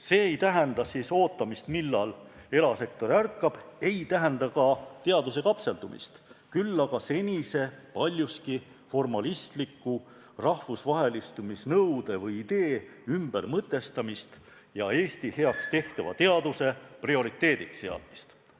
See ei tähenda ootamist, millal erasektor ärkab, ei tähenda ka teaduse kapseldumist, küll aga senise paljuski formalistliku rahvusvahelistumise nõude või idee ümbermõtestamist ja Eesti heaks tehtava teaduse prioriteediks seadmist.